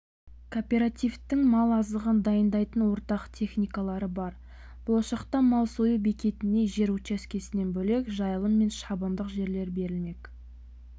кооперативтің мал азығын дайындайтын ортақ техникалары бар болашақта мал сою бекетіне жер учаскесінен бөлек жайылым мен шабындық жерлер берілмек